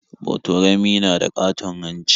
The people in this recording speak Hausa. Botorami na da ƙaton hanci.